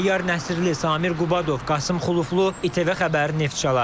Təyyar Nəsirli, Samir Qubadov, Qasım Xuluflu, İTV xəbəri, Neftçala.